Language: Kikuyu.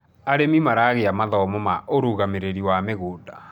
arĩmi maragia mathomo ma urugamiriri wa mgunda